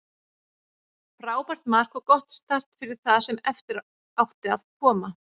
Frábært mark og gott start fyrir það sem eftir átti að koma.